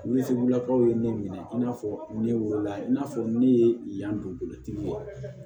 Yiribulakaw ye ne minɛ i n'a fɔ ne wolo la i n'a fɔ ne ye yan don bolotigi wa